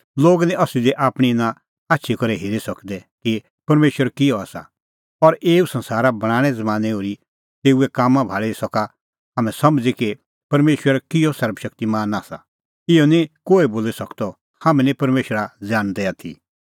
लोग निं असली दी आपणीं इना आछी करै हेरी सकदै कि परमेशर किहअ आसा और एऊ संसारा बणांणें ज़मानैं ओर्ही तेऊए कामां भाल़ी सका हाम्हैं समझ़ी कि परमेशर किहअ सर्वशक्तिमान आसा इहअ निं कोहै बोली सकदअ हाम्हैं निं परमेशरा ज़ाणदै आथी